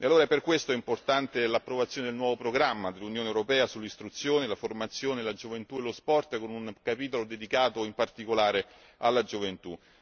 Per tutti questi motivi è importante l'approvazione del nuovo programma dell'Unione europea sull'istruzione, la formazione, la gioventù e lo sport, con un capitolo dedicato in particolare alla gioventù.